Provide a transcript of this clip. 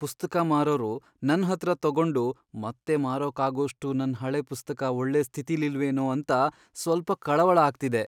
ಪುಸ್ತಕ ಮಾರೋರು ನನ್ಹತ್ರ ತಗೊಂಡು ಮತ್ತೆ ಮಾರಕ್ಕಾಗೋಷ್ಟು ನನ್ ಹಳೆ ಪುಸ್ತಕ ಒಳ್ಳೆ ಸ್ಥಿತಿಲಿಲ್ವೇನೋ ಅಂತ ಸ್ವಲ್ಪ ಕಳವಳ ಆಗ್ತಿದೆ.